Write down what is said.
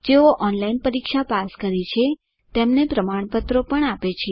જેઓ ઓનલાઇન પરીક્ષા પાસ કરે છે તેમને પ્રમાણપત્ર આપે છે